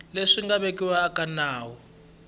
leswi nga vekiwa eka nawu